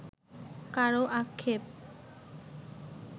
কারও আক্ষেপ